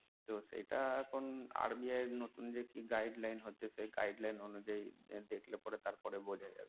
তো সেটা এখন RBI এর নতুন যে কি guideline হচ্ছে সেই guideline অনুযায়ী দেখলে তার পরে বোঝা যাবে